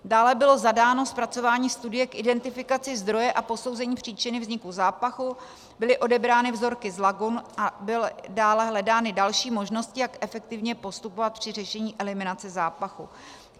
Dále bylo zadáno zpracování studie k identifikaci zdroje a posouzení příčiny vzniku zápachu, byly odebrány vzorky z lagun a byly dále hledány další možnosti, jak efektivně postupovat při řešení eliminace zápachu.